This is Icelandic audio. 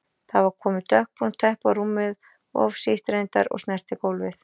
Það var komið dökkbrúnt teppi á rúmið, of sítt reyndar og snerti gólfið.